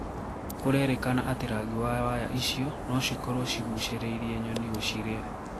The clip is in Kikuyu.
Kurerekana ati ragi wa waya icio noo cikorwo cigucereire nyoni guciria.